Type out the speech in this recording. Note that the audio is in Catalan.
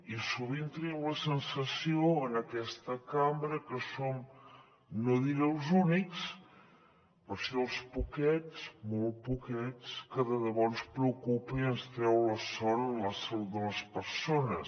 i sovint tenim la sensació en aquesta cambra que som no diré els únics però sí els poquets molt poquets que de debò ens preocupa i ens treu la son la salut de les persones